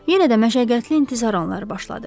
Yenə də məşəqqətli intizar anları başladı.